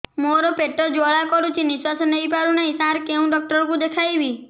ମୋର ପେଟ ଜ୍ୱାଳା କରୁଛି ନିଶ୍ୱାସ ନେଇ ପାରୁନାହିଁ ସାର କେଉଁ ଡକ୍ଟର କୁ ଦେଖାଇବି